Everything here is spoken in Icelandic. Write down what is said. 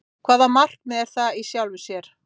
Hvaða markmið er það í sjálfu sér?